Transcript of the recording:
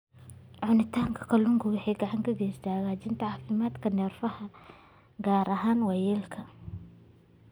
Cunista kalluunka waxay gacan ka geysataa hagaajinta caafimaadka neerfaha, gaar ahaan waayeelka.